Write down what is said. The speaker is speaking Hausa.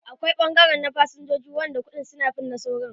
Akwai ɓangare na fasinjoji wanda kuɗin su ya fi na saura.